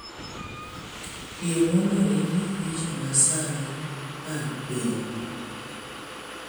Yie mondo ing'e weche masani mag piny